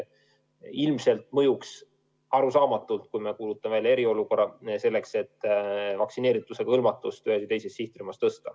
Ilmselt mõjuks arusaamatult, kui me kuulutame välja eriolukorra, selleks et vaktsineerituse hõlmatust ühes või teises sihtrühmas tõsta.